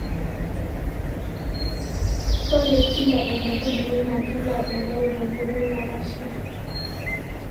ore kila enkaitubului naa kelau enkare te nkoitoi napaashari